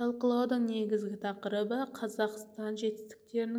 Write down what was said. талқылаудың негізгі тақырыбы қазақстан жетістіктерінің